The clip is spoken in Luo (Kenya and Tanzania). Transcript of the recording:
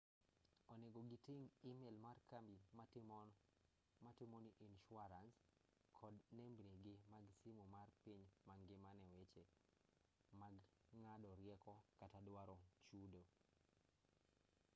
onego giting' email mar kambi matimoni insuarans kod nembnigi mag simu mar piny mangima ne weche mag ng'ado rieko kata duaro chudo